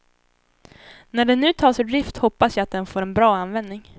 När den nu tas ur drift hoppas jag att den får en bra användning.